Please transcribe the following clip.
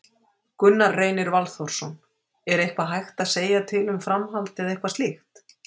Gunnar Reynir Valþórsson: Er eitthvað hægt að segja til um framhald eða eitthvað slíkt?